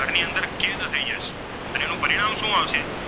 તેનામાં શું આવશે?